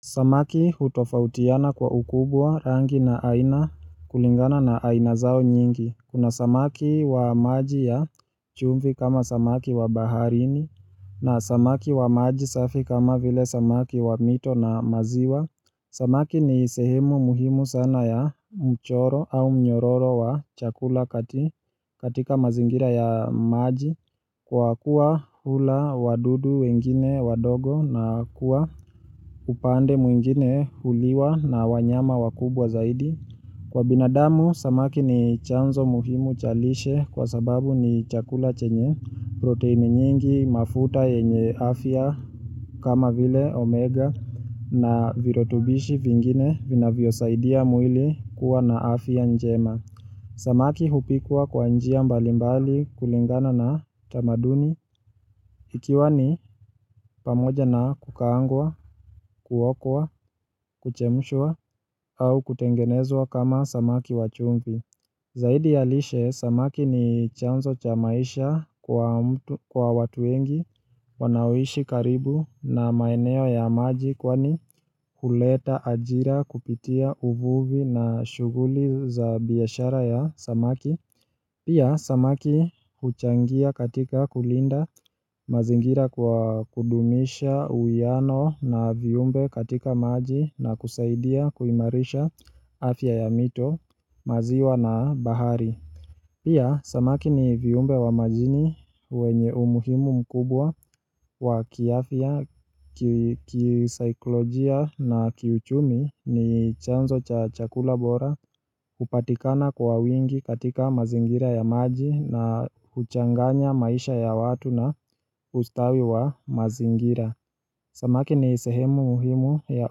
Samaki hutofautiana kwa ukubwa rangi na aina kulingana na aina zao nyingi Kuna samaki wa maji ya chumvi kama samaki wa baharini na samaki wa maji safi kama vile samaki wa mito na maziwa Samaki ni sehemu muhimu sana ya mchoro au mnyororo wa chakula katika mazingira ya maji Kwa kuwa hula wadudu wengine wadogo na kuwa upande mwingine huliwa na wanyama wakubwa zaidi Kwa binadamu, samaki ni chanzo muhimu cha lishe kwa sababu ni chakula chenye proteini nyingi mafuta yenye afya kama vile omega na virutubishi vingine vinavyosaidia mwili kuwa na afya njema Samaki hupikwa kwa njia mbali mbali kulingana na tamaduni ikiwa ni pamoja na kukaangwa, kuokwa, kuchemshwa au kutengenezwa kama samaki wa chumvi Zaidi ya lishe, samaki ni chanzo cha maisha kwa watu wengi wanaoishi karibu na maeneo ya maji Kwani huleta ajira kupitia uvuvi na shughuli za biashara ya samaki Pia samaki huchangia katika kulinda mazingira kwa kudumisha uwiano na viumbe katika maji na kusaidia kuimarisha afya ya mito maziwa na bahari Pia, samaki ni viumbe wa majini wenye umuhimu mkubwa wa kiafya, kisaikolojia na kiuchumi ni chanzo cha chakula bora hupatikana kwa wingi katika mazingira ya maji na huchanganya maisha ya watu na ustawi wa mazingira. Samaki ni sehemu muhimu ya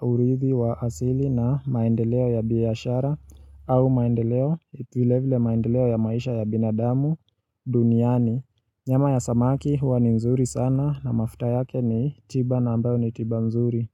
urithi wa asili na maendeleo ya biashara au maendeleo vile vile maendeleo ya maisha ya binadamu duniani. Nyama ya samaki huwa ni mzuri sana na mafuta yake ni tiba na ambayo ni tiba mzuri.